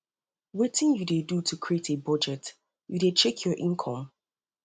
wetin you dey do to create a budget you dey check your income